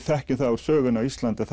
þekkjum það úr sögunni á Íslandi